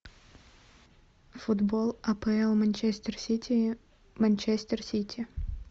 футбол апл манчестер сити манчестер сити